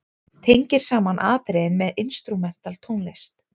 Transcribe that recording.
Tengir saman atriðin með instrumental tónlist.